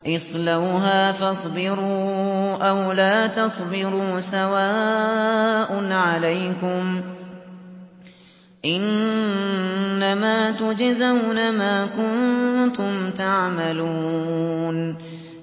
اصْلَوْهَا فَاصْبِرُوا أَوْ لَا تَصْبِرُوا سَوَاءٌ عَلَيْكُمْ ۖ إِنَّمَا تُجْزَوْنَ مَا كُنتُمْ تَعْمَلُونَ